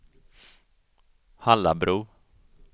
Hallabro